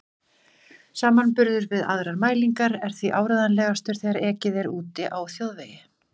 Samanburður við aðrar mælingar er því áreiðanlegastur þegar ekið er úti á þjóðvegi.